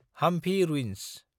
Hampi ruins